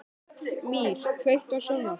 Mír, kveiktu á sjónvarpinu.